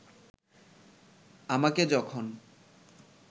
আমাকে যখন